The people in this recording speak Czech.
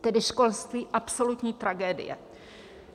Tedy školství - absolutní tragédie.